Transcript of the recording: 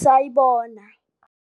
Sayibona